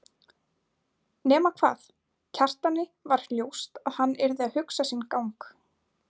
Nema hvað, Kjartani var ljóst að hann yrði að hugsa sinn gang.